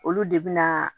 Olu de bi na